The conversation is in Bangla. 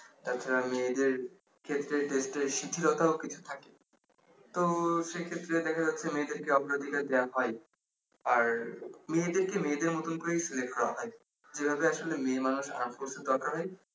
তাছাড়া মেয়েদের ক্ষেত্রে একটু শীথিলতাও কিছু থাকে তো সেক্ষেত্রে দেখা যাচ্ছে মেয়েদের কে অগ্রাধীকার দেয়া হয় আর মেয়েদেরকে মেয়েদের মত করেই select করা হয় যেভাবে আসলে মেয়ে মানুষ arm force এ দরকার হয়